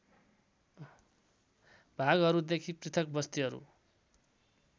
भागहरूदेखि पृथक बस्तीहरू